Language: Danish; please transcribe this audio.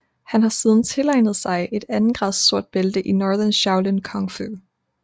Han har siden tilegnet sig et andengrads sort bælte i Northern Shaolin Kung Fu